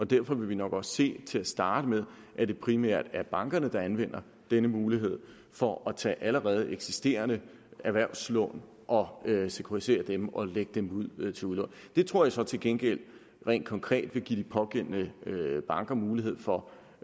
derfor vil vi nok også se at til at starte med primært er bankerne der anvender denne mulighed for at tage allerede eksisterende erhvervslån og sekuritisere dem og lægge dem ud til udlån det tror jeg så til gengæld rent konkret vil give de pågældende banker mulighed for